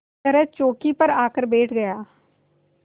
तरह चौकी पर आकर बैठ गया